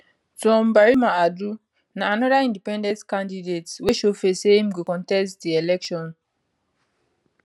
twum barima adu na anoda independent candidate wey show face say im go contest di election